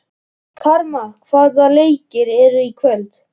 Karma, hvaða leikir eru í kvöld?